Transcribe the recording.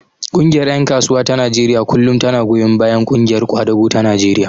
Ƙungiyar ƴan kasuwa ta Najeriya kullum tana goyon bayan ƙungiyar ƙwadago ta Najeriya.